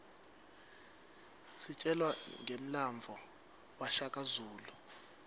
sitjelwa ngemlandvo washaka zulu